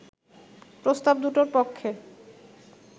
প্রস্তাব দুটোর পক্ষে